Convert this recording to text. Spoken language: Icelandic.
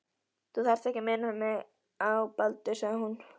Þú þarft ekki að minna mig á Baldur sagði hún.